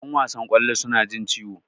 Yan wasan kwallo suna jin ciwo.